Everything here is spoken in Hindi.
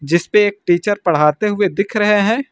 जिस पे एक टीचर पढ़ाते हुए दिख रहे हैं।